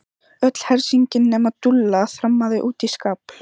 Öll hersingin nema Dúlla þrammaði út í skafl.